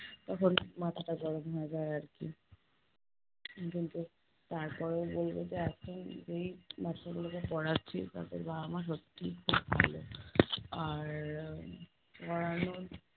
তখন মাথাটা গরম হয়ে যায় আরকি কিন্তু তারপরেও বলবো যে এখন যেই বাচ্চাগুলোকে পড়াচ্ছি তাদের বাবা-মা সত্যিই খুব ভালো। আর উহ পোড়ানোর